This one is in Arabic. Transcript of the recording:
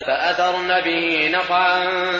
فَأَثَرْنَ بِهِ نَقْعًا